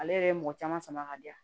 Ale yɛrɛ ye mɔgɔ caman sama ka di yan